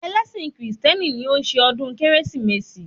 Ẹlẹ́sìn Krìstieni ni o n ṣe ọ̀dún kérésìmesì